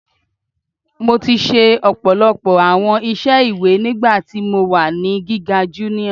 Mo ti ṣe ọpọlọpọ awọn iṣẹ iwe nigbati mo wa ni giga junior